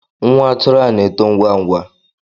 Nwa atụrụ a na-eto ngwa ngwa